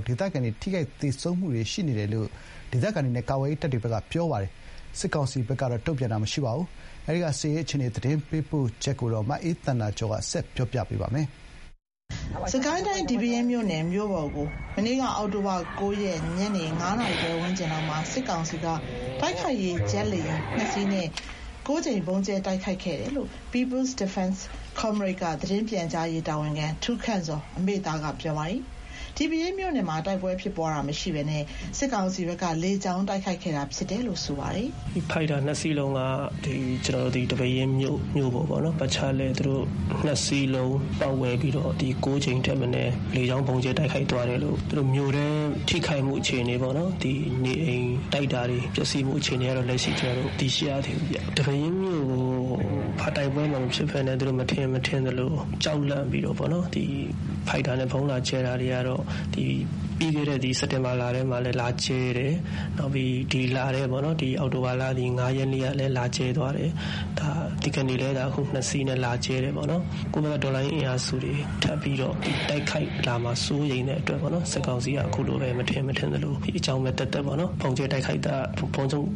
် ဒေသခံတွေ ထိခိုက် သေဆုံးခဲ့ကြရတယ်လို့ ဒေသခံတွေနဲ့ ကာကွယ်ရေးတပ်ဖွဲ့တွေက ပြောပါတယ်။ ဒီတိုက်ခိုက် သေဆုံးမှုတွေနဲ့ပတ်သက်လို့ သတင်းပေးပို့ချက်အပြည့်အစုံကို ရန်ကုန်က သတင်းပေးပို့ထားပါတယ်။ စစ်ကိုင်းတိုင်း ဒီပဲယင်းမြို့ပေါ်ကို အောက်တိုဘာ ၉ ရက် ညနေ ၅ နာရီခွဲဝန်းကျင်လောက်မှာ စစ်ကောင်စီက တိုက်ခိုက်ရေး ဂျက်လေယာဉ် ၂ စီးနဲ့ ၉ ကြိမ် ဗုံးကြဲတိုက်ခိုက်ခဲ့တယ်လို့ People's Defense Comrade မှ သတင်းပြန်ကြားရေးတာဝန်ခံ ထူးခန့်ဇော် က ပြောပါတယ်။ ဒီပဲယင်းမြို့နယ်မှာ တိုက်ပွဲဖြစ်ပွားတာမရှိဘဲ စစ်ကောင်စီဖက်က လေကြောင်းတိုက်ခိုက်ခဲ့တာလို့ ဆိုပါတယ်။ “ဖိုက်တာ ၂ စီးလုံးက သူတို့ ဒီပဲယင်းမြို့ကို သူတို့ ပတ်ချာလည် ၂ စီးလုံးပတ်ဝဲပြီးတော့ ၉ ကြိမ်ထက် မနည်း လေကြောင်းတိုက်ခိုက်သွားတယ်။ မြို့ထဲ ထိခိုက်မှုအခြေအနေပေါ့နော်၊ နေအိမ်၊ တိုက်တာတွေ ပျက်စီးမှုအခြေအနေကတော့ ကျနော်တို့ အသေးစိတ်မသိရသေးဘူးဗျ။ ဒီပဲယင်းကို ဘာတိုက်ပွဲမှ မဖြစ်ဘဲနဲ့ သူတို့ မထင်ရင်မထင်သလို ကြောက်လန့်ပြီးတော့ပေါ့နော်၊ ဗုံးလာကြဲတာတွေကတော့ ပြီးခဲ့တဲ့ စက်တင်ဘာလထဲကလည်း လာကြဲတယ်။ ပြီးတော့ ဒီ အောက်တိုဘာ ၅ ရက်နေ့ကလည်း လာကြဲသွားတယ်။ ဒီကနေ့လည်း ၂ စီးနဲ့ လာကြဲတယ်ပေါ့နော်။ ကိုယ့်ဘက်က တော်လှန်ရေး အင်အားစုတွေ ထပ်ပြီးတော့ တိုက်ခိုက်လာမှာကို စိုးရိမ်တဲ့အတွက်ပေါ့နော်။ စစ်ကောင်စီက ခုလိုပဲ မထင်ရင်မထင်သလို အကြောင်းမဲ့သက်သက် ဗုံးကြဲတိုက်ခိုက်တယ်လို့ပဲ ကျနော်တို့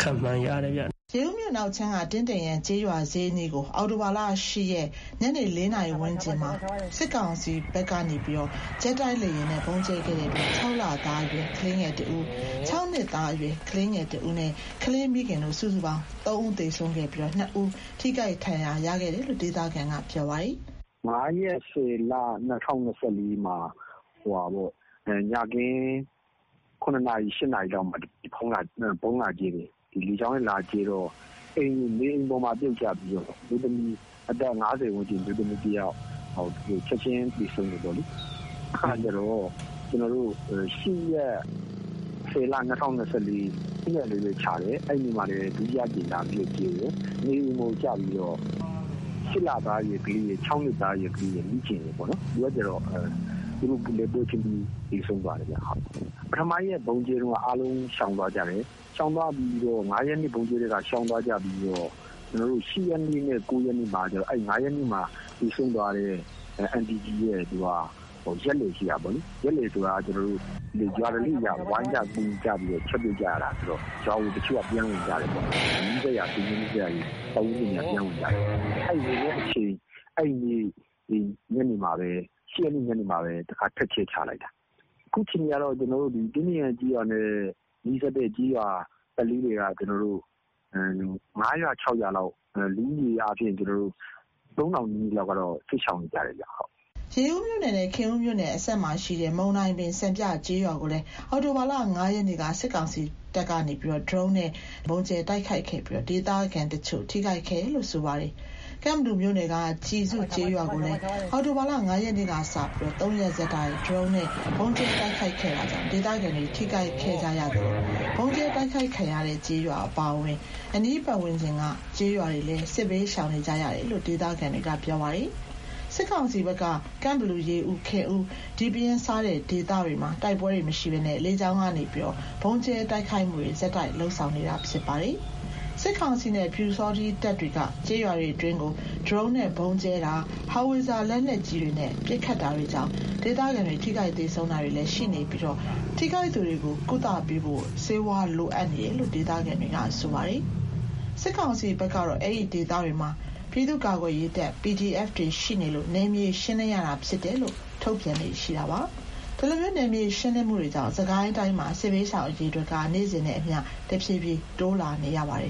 ခန့်မှန်းရတယ်ဗျ။” ရေဦးမြို့ အနောက်ခြမ်းက တင်းတိမ်ရံကျေးရွာဈေးအနီးကို အောက်တိုဘာ ၈ ရက် ညနေ ၄ နာရီ ဝန်းကျင်လောက်မှာ စစ်ကောင်စီဘက်က ဂျက်တိုက်လေယာဉ်နဲ့ ဗုံးကြဲခဲ့တဲ့အတွက် ရင်သွေးငယ်နှစ်ဦးနဲ့အတူ မိခင်တို့ စုစုပေါင်းသားအမိ ၃ ဦးသေဆုံးခဲ့ပြီး ၂ ဦး ထိခိုက်ဒဏ်ရာ ရခဲ့တယ်လို့ ဒေသခံက ပြောပါတယ်။ “၅ ရက် ၁၀ လ၊ ၂၀၂၄ မှာ ညခင်း ၇ နာရီ ၈ နာရီလောက်မှာ လေကြောင်းနဲ့ ဗုံးလာကြဲတော့ နေအိမ်ပေါ် ပြုတ်ကျပြီးတော့ အသက် ၅၀ ဝန်းကျင် အမျိုးသမီးတယောက် သေဆုံးတယ်။ နောက်တခေါက်က ၈ ရက် ၁၀ လ၊ ၂၀၂၄ ညနေမှာ ဗုံးထပ်လာကြဲတော့ အဲ့ဒီမှာတင် နေအိမ်ပေါ် ကျပြီးတော့ ၆ လသား အရွယ်ကလေးရယ်၊ ၆ နှစ်သားအရွယ်ကလေးရယ်၊ မိခင်ရယ်ပေါ့ ပွဲချင်းပြီး သေဆုံးသွားတယ်ဗျ။ ပထမရက် ဗုံးကြဲတုန်းက အားလုံးရှောင်သွားကြတယ်။ ၅ ရက်နေ့ ကြဲတုန်းက ရှောင်သွားကြပြီးတော့ ၈ ရက်နေ့မှာကျတော့ အဲ့ဒီ ၅ ရက်နေ့မှာ သေဆုံးသွားတဲ့ အန်တီကြီးအတွက် ရက်လည်ရှိတာပေါ့လေ။ ရက်လည်ဆိုတော့ ရွာဓလေ့အရ ဝိုင်းကြကူကြဆိုတော့ ရွာကို တချို့က ပြန်ဝင်ကြတယ်ဗျ။ ဆွေမျိုးနီးစပ်နဲ့ ပတ်ဝန်းကျင်တွေက ပြန်ဝင်ကြတယ်။ အဲ့ဝင်တဲ့အချိန် ညနေမှာပဲ ၈ ရက်နေ့ ညနေမှာ ထပ်ကြဲချလိုက်တာ။ အခု ဖြစ်တာကတော့ တင်းတိမ်ရံကျေးရွာနဲ့ နီးစပ်တဲ့ ကျေးရွာတွေက ၅ ရွာ ၆ ရွာလောက်က ဒေသခံ ၃,၀၀၀ ဝန်းကျင်လောက်ကတော့ စစ်ရှောင်နေကြရတယ်ဗျ။” ရေဦးမြို့နယ်နဲ့ ခင်ဦးမြို့နယ်အစပ်မှာရှိတဲ့ မုံတိုင်ပင် စံပြကျေးရွာကိုလည်း အောက်တိုဘာ ၅ ရက်နေ့က စစ်ကောင်စီတပ်က ဒရုန်းနဲ့ ၆ ကြိမ် ဗုံးကြဲတိုက်ခိုက်ခဲ့ပြီး ဒေသခံတချို့ ထိခိုက်ခဲ့တယ်လို့ ဆိုပါတယ်။ ကန့်ဘလူမြို့နယ်က ကျီစုကျေးရွာကိုလည်း အောက်တိုဘာ ၅ ရက်နေ့ကစပြီး ၃ ရက်ဆက်တိုက် ဒရုန်းနဲ့ ဗုံးကြဲတိုက်ခိုက်ခဲ့တာကြောင့် ဒေသခံတွေ ထိခိုက် ခဲ့ကြသလို ဗုံးကြဲတိုက်ခိုက်ခံရတဲ့ ကျေးရွာ အပါအဝင် အနီးဝန်းကျင်က ကျေးရွာတွေကလည်း စစ်ဘေးရှောင်နေကြရတယ်လို့ ဒေသခံတွေက ပြောပါတယ်။ စစ်ကောင်စီဘက်က ကန့်ဘလူ၊ ရေဦး၊ ခင်ဦး၊ ဒီပဲယင်းစတဲ့ ဒေသတွေမှာ တိုက်ပွဲတွေမရှိဘဲ လေကြောင်းကနေ ဆက်တိုက် ဗုံးကြဲတိုက်ခိုက်နေတာဖြစ်ပါတယ်။ စစ်ကောင်စီနဲ့ ပျူစောထီးတပ် တွေက ကျေးရွာတွေအတွင်းကို ဒရုန်းနဲ့ ဗုံးကြဲတာ၊ ဟောင်ဝစ်ဇာ လက်နက်ကြီးတွေနဲ့ ပစ်ခတ်တာတွေကြောင့် ဒေသခံတွေ ထိခိုက်သေဆုံးတာတွေလည်း ရှိနေပြီး ထိခိုက်သူတွေ ကုသပေးနိုင်ဖို့ ဆေးဝါးလိုအပ်ချက်တွေရှိတယ်လို့လည်း ဒေသခံတွေပြောပါတယ်။ စစ်ကောင်စီဘက်ကတော့ အဲ့ဒီဒေသတွေမှာ ပြည်သူ့ကာကွယ်ရေးတပ် PDF တွေရှိနေလို့ နယ်မြေ ရှင်းလင်းရတာဖြစ်တယ်လို့ ထုတ်ပြန်လေ့ရှိပါတယ်။ ဒီလို နယ်မြေရှင်းလင်းမှုတွေကြောင့် စစ်ကိုင်းတိုင်းမှာ စစ်ဘေးရှောင်အရေအတွက်က နေ့စဉ်နဲ့အမျှ တဖြည်းဖြည်း တိုးလာနေပါတယ်